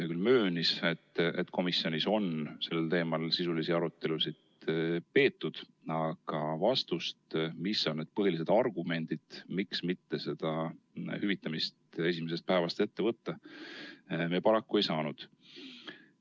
Ta küll möönis, et komisjonis on sellel teemal sisulisi arutelusid peetud, aga vastust, mis on need põhilised argumendid, miks mitte esimesest päevast hüvitamist ette võtta, me paraku ei saanud.